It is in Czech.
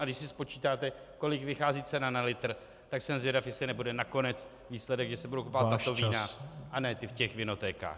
A když si spočítáte, kolik vychází cena na litr, tak jsem zvědav, jestli nebude nakonec výsledek, že se budou kupovat tato vína a ne ta v těch vinotékách.